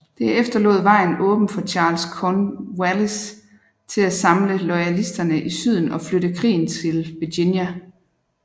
Det efterlod vejen åben for Charles Cornwallis til at samle loyalisterne i Syden og flytte krigen til Virginia